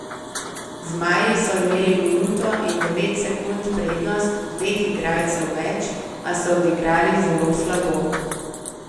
Zmaji so imeli minuto in devet sekund prednost dveh igralcev več, a so odigrali zelo slabo.